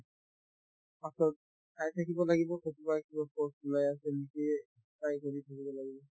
পাছত চাই থাকিব লাগিব ক'ৰবাত কিবা post ওলাই আছে নেকিয়ে try কৰি থাকিব লাগিব